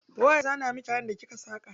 Waye ya zana miki kayan da kika saka?